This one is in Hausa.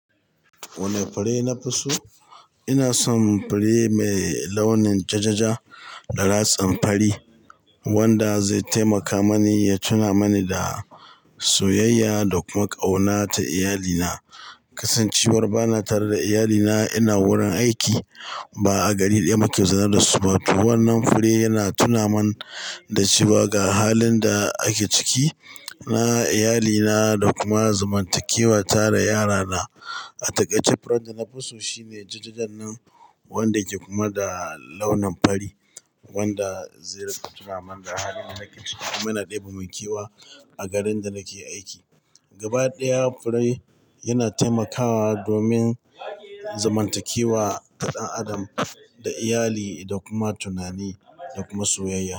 Wanne fure nafi so? Ina son fure mai launin jajaja da ratsin fari, wanda zai taimaka mani ya tuna mani da soyayya da kuma ƙauna ta iyalina. Kasancewar bana tare da iyalina ina wurin aiki, ba a gari ɗaya muke zaune da su ba, to wannan fure yana tunamin da cewa ga halin da ake ciki, na iyali na da kuma zamantakewa ta, da yara na a taƙaice furen da nafi so shine ja-ja jannan, wanda ke kuma da launin fari, wanda zai ringa tunamin da halin da ake ciki, kuma yana ɗebe mun kewa a garin da nake aiki. Gaba ɗaya fure yana taimakawa domin zamantakewa ta ɗan adam da iyali, da kuma tunani da kuma soyayya.